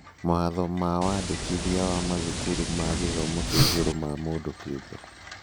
Mawatho ma wandĩkithia wa Mathukuru ma Gĩthomo kĩa igũrũ ma mũndũ kĩũmbe